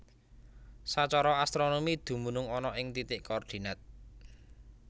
Sacara astronomi dumunung ana ing titik koordinat